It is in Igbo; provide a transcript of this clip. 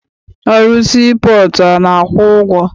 Ọrụ sii pọọtụ a na-akwụ ụgwọ?